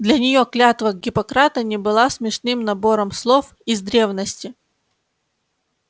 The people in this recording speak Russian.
для неё клятва гиппократа не была смешным набором слов из древности